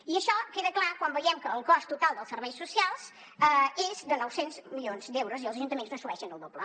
i això queda clar quan veiem que el cost total dels serveis socials és de nou cents milions d’euros i els ajuntaments n’assumeixen el doble